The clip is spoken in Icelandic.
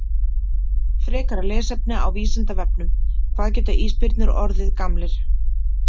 Frekara lesefni á Vísindavefnum: Hvað geta ísbirnir orðið gamlir?